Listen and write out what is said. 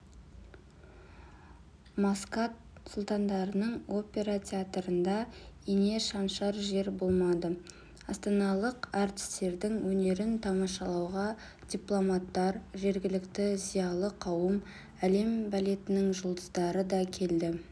маскат сұлтандығының опера театрында ине шаншар жер болмады астаналық әртістердің өнерін тамашалауға дипломаттар жергілікті зиялы қауым әлем балетінің жұлдыздары да келді